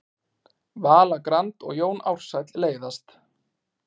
Vala Grand og Jón Ársæll leiðast